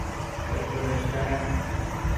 Kaj torej šteje?